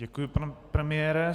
Děkuji, pane premiére.